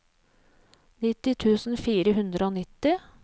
nitti tusen fire hundre og nitti